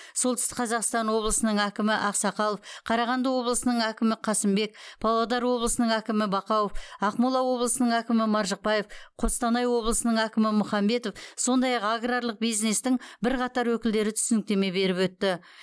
солтүстік қазақстан облысының әкімі ақсақалов қарағанды облысының әкімі қасымбек павлодар облысының әкімі бақауов ақмола облысының әкімі маржықпаев қостанай облысының әкімі мұхамбетов сондай ақ аграрлық бизнестің бірқатар өкілдері түсініктеме беріп өтті